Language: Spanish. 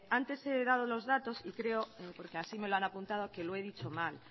antes he dado los datos y creo porque así me lo han apuntado que lo he dicho mal